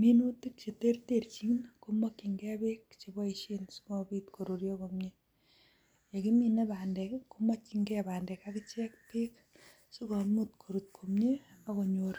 Minitik Che terterchin komokin key bek cheboishen sigopit koruryo komnye yekimine bandek komokin key bandek akichek bek asigomuch korut komie akonyor